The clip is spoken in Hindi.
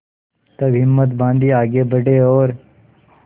तब हिम्मत बॉँधी आगे बड़े और